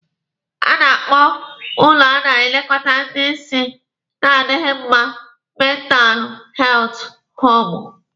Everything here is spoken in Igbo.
A na-akpọ ụlọ a na-elekọta ndị isi na-adịghi mma mentalụ heltụ hoomụ